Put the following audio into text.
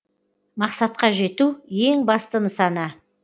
мақсатқа жету ең басты нысана